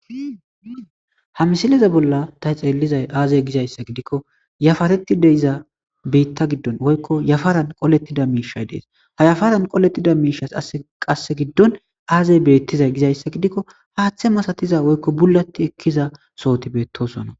ha misileza bolla ta xeellizay aazey gizayssa gidikko yafaretti de iza biitta giddon woykko yafaran qolettida miishay dees ha yafaran qolettida miishas qasse giddon aazey beettizay gizayssa gidikko haaththe masatiza woykko bullatti ekkiza sohoti beettosonna